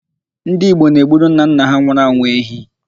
Ndị Igbo na-egburu nnanna ha nwụrụ anwụ ehi.